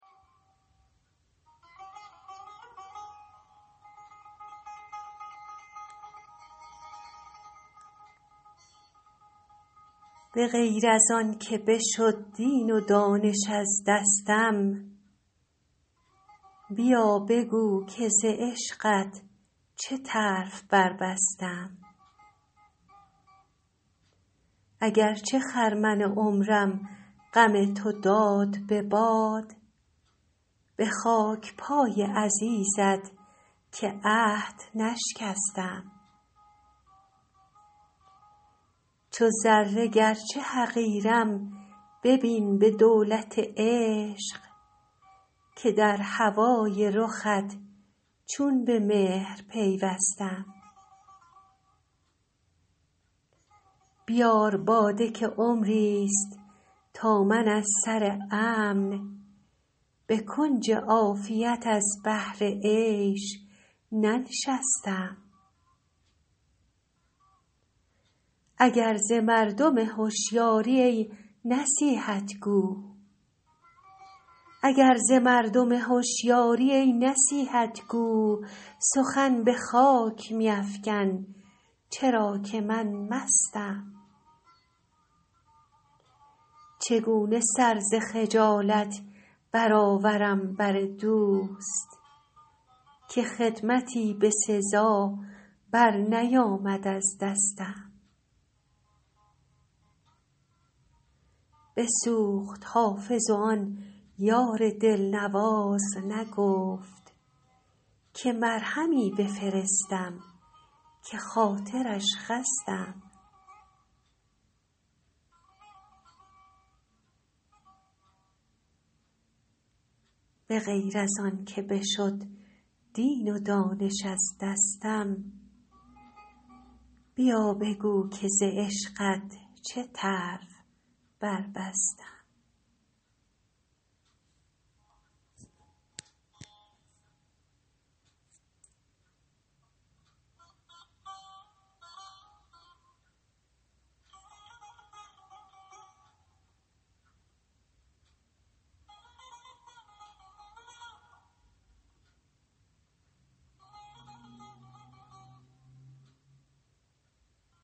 به غیر از آن که بشد دین و دانش از دستم بیا بگو که ز عشقت چه طرف بربستم اگر چه خرمن عمرم غم تو داد به باد به خاک پای عزیزت که عهد نشکستم چو ذره گرچه حقیرم ببین به دولت عشق که در هوای رخت چون به مهر پیوستم بیار باده که عمریست تا من از سر امن به کنج عافیت از بهر عیش ننشستم اگر ز مردم هشیاری ای نصیحت گو سخن به خاک میفکن چرا که من مستم چگونه سر ز خجالت برآورم بر دوست که خدمتی به سزا برنیامد از دستم بسوخت حافظ و آن یار دلنواز نگفت که مرهمی بفرستم که خاطرش خستم